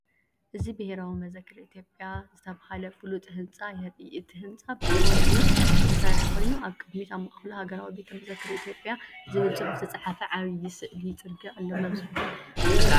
እዚ ብሄራዊ ቤተ መዘክር ኢትዮጵያ ዝተባህለ ፍሉጥ ህንጻ የርኢ። እቲ ህንጻ ብኮንክሪት ዝተሰርሐ ኮይኑ፡ ኣብ ቅድሚት ኣብ ማእከሉ "ሃገራዊ ቤተ መዘክር ኢትዮጵያ" ዝብል ጽሑፍ ዝተጻሕፈ ዓቢ ስእሊ ጽርግያ ኣሎ። ናብዚ ቤተ መዘክር ኣቲኩም ትፈልጡ ዶ?